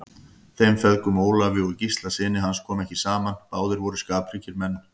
Þeim feðgum, Ólafi og Gísla syni hans, kom ekki saman, báðir voru skapríkir menn.